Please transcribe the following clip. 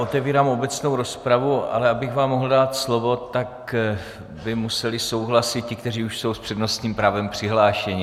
Otevírám obecnou rozpravu, ale abych vám mohl dát slovo, tak by museli souhlasit ti, kteří už jsou s přednostním právem přihlášeni.